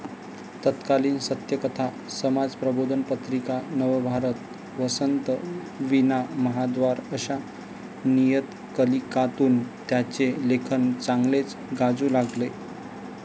तत्कालीन सत्यकथा, समाजप्रबोधन पत्रिका, नवभारत, वसंत, वीणा, महाद्वार आशा नियतकलीकांतून त्यांचे लेखन चांगलेच गाजू लागले.